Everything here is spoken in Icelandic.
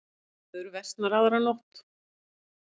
Veður versnar aðra nótt